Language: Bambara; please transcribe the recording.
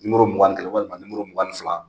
mugan ni kelen walima mugan ni fila.